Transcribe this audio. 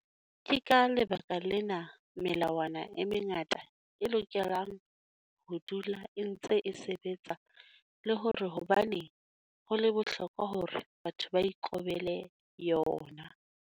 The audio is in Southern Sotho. Ke ka lebaka lena melawana e mengata e lokelang ho dula e ntse e sebetsa le hore hobaneng ho le bohlokwa hore batho ba ikobele yona.